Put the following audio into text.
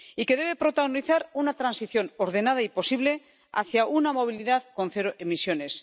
Y que debe protagonizar una transición ordenada y posible hacia una movilidad con cero emisiones.